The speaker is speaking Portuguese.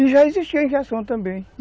E já existia injeção também.